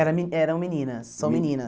Era me eram meninas, são meninas.